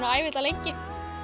að æfa þetta lengi